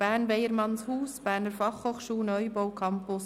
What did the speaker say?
«Bern, Weyermannshaus, Berner Fachhochschule, Neubau Campus.